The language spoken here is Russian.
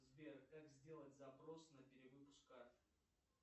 сбер как сделать запрос на перевыпуск карты